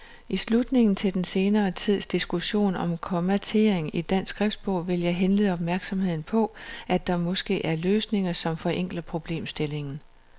I tilslutning til den senere tids diskussion om kommatering i dansk skriftsprog vil jeg henlede opmærksomheden på, at der måske er løsninger, som forenkler problemstillingen.